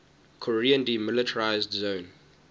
korean demilitarized zone